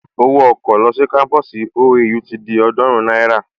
Owó ọkọ̀ lọ sí kámpusi OAU ti di ọ̀ọ́dúrún náírà